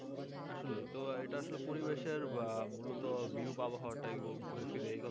আসলে এটা তো পরিবেশের মূলত বিরূপ আবহাওয়াটা ঘুরেফিরে